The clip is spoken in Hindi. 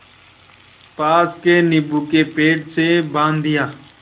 पास के नीबू के पेड़ से बाँध दिया